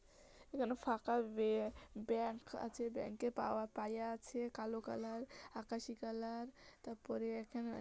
এখানে ফাঁকা বিয়ে ব্যাংক আছে ব্যাংক -এ পাওয়ার পাইয়া আছে কালো কালার আকাশী কালার তারপরে এখানে-আ -